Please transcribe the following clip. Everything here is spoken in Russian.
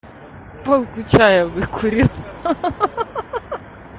палку чая выкурил ха-ха